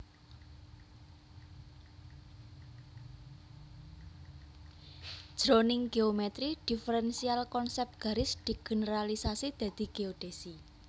Jroning géomètri diferensial konsèp garis digeneralisasi dadi géodhèsi